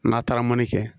N'a taara mɔni kɛ